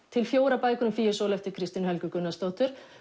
til fjórar bækur um Fíusól eftir Kristínu Helgu Gunnarsdóttur